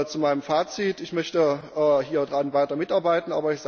Zu meinem Fazit Ich möchte hieran weiter mitarbeiten.